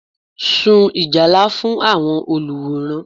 Sun Ìjálá fún àwọn olùwòran